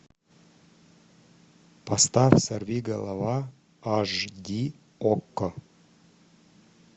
поставь сорвиголова аш ди окко